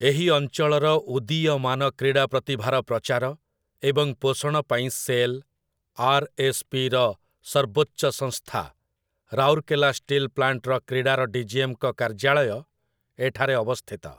ଏହି ଅଞ୍ଚଳର ଉଦୀୟମାନ କ୍ରୀଡ଼ା ପ୍ରତିଭାର ପ୍ରଚାର ଏବଂ ପୋଷଣ ପାଇଁ ସେଲ୍, ଆର୍‌.ଏସ୍‌.ପି. ର ସର୍ବୋଚ୍ଚ ସଂସ୍ଥା ରାଉରକେଲା ଷ୍ଟିଲ୍ ପ୍ଲାଣ୍ଟର କ୍ରୀଡ଼ାର ଡିଜିଏମ୍‌ଙ୍କ କାର୍ଯ୍ୟାଳୟ ଏଠାରେ ଅବସ୍ଥିତ ।